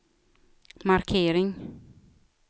markering